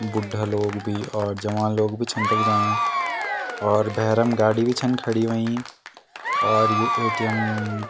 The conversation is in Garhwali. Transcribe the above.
बुढा लोग भी और जवान लोग भी छन तख जायां और भैरम गाडी भी छन खड़ीं हुयीं और यु ए.टी.एम. --